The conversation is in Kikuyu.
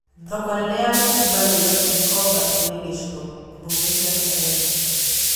Thoko nene ya mitumba Nairobi Gĩkomba rĩrĩ gĩcigo mbunge kĩa Starehe